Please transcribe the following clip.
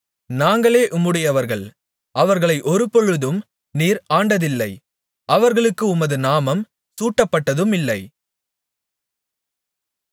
நாங்களே உம்முடையவர்கள் அவர்களை ஒருபொழுதும் நீர் ஆண்டதில்லை அவர்களுக்கு உமது நாமம் சூட்டப்பட்டதுமில்லை